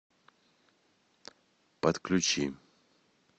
подключи